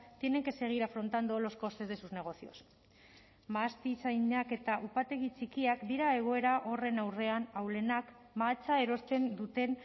tienen que seguir afrontando los costes de sus negocios mahastizainak eta upategi txikiak dira egoera horren aurrean ahulenak mahatsa erosten duten